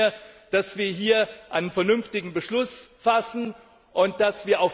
Ich wünsche mir, dass wir hier einen vernünftigen Beschluss fassen, und dass wir nach dem